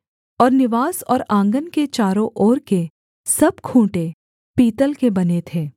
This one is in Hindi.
और निवास और आँगन के चारों ओर के सब खूँटे पीतल के बने थे